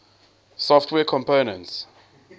software components